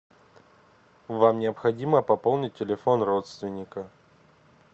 вам необходимо пополнить телефон родственника